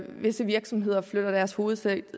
visse virksomheder flytter deres hovedsæde